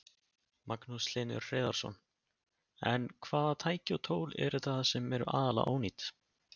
Magnús Hlynur Hreiðarsson: En hvaða tæki og tól eru það sem eru aðallega ónýt?